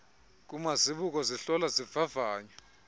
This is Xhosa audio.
kumazibuko zihlola zivavanye